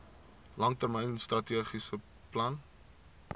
langtermyn strategiese plan